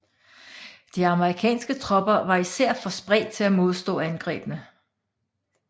De amerikanske tropper var især for spredt til at modstå angrebene